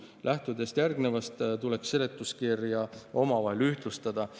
Lähtudes järgnevast tuleb seletuskirjades toodu omavahel ühtlustada.